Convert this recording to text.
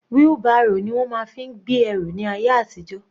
Wheelbarrow ni wọ́n fi máa ń gbé ẹrù ní ayé àtijó.